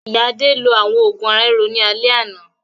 Ìyá Adé lo àwọn òògùn ara-ríro ní alẹ́ yìí.